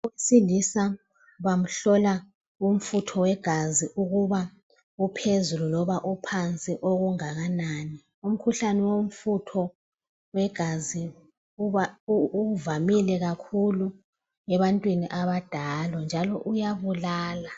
Owesilisa bamhlola umfutho wegazi ukuba uphezulu loba uphansi okungakanani. Umkhuhlane womfutho wegazi ivamile kakhulu ebantwini abadala njalo uyabulala.